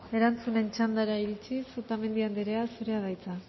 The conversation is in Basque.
erantzunen txandara iritziz otamendi andrea zurea da hitza